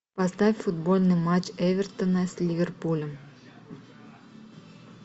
поставь футбольный матч эвертона с ливерпулем